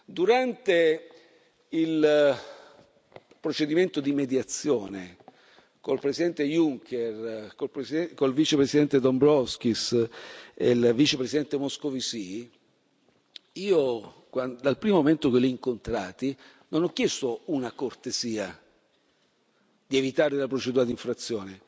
Durante il procedimento di mediazione con il Presidente Juncker, con il Vicepresidente Dombrovskis e il Vicepresidente Moscovici, io, dal primo momento che li ho incontrati, non ho chiesto una cortesia, di evitare la procedura di infrazione.